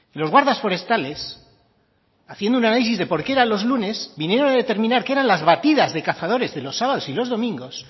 los guardas forestales haciendo un análisis de por qué eran los lunes vinieron a determinar que eran las batidas de cazadores de los sábados y los domingos